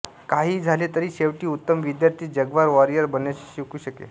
काहीही झाले तरी शेवटी उत्तम विद्यार्थीच जाग्वार वॉरियर बनण्याचे शिकू शके